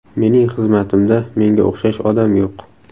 Mening xizmatimda menga o‘xshash odam yo‘q.